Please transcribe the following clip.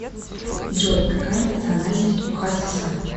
джой какая национальность у хасиса